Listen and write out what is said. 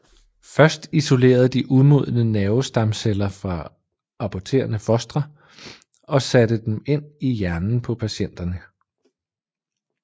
Først isolerede de umodne nervestamceller fra aborterede fostre og satte dem ind i hjernen på patienterne